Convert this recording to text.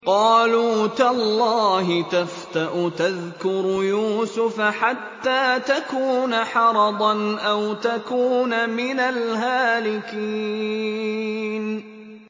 قَالُوا تَاللَّهِ تَفْتَأُ تَذْكُرُ يُوسُفَ حَتَّىٰ تَكُونَ حَرَضًا أَوْ تَكُونَ مِنَ الْهَالِكِينَ